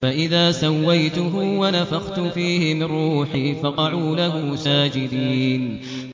فَإِذَا سَوَّيْتُهُ وَنَفَخْتُ فِيهِ مِن رُّوحِي فَقَعُوا لَهُ سَاجِدِينَ